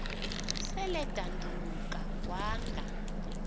sel edanduluka wanga